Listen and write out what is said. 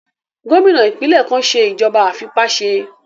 Gómìnà ìpínlẹ̀ kan n ṣe ìjọba àìfipáṣe